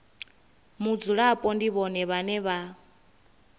mudzulapo ndi vhone vhane vha